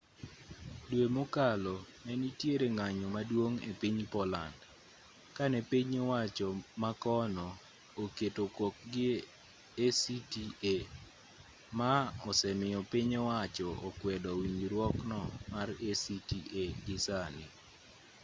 dwe mokalo nenitiere ng'anyo maduong' epiny poland kane piny owacho makono oketo kokgi e acta maa osemiyo piny owacho okwedo winjruokno mar acta gisani